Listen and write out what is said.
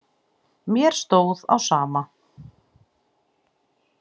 Mér stóð á sama.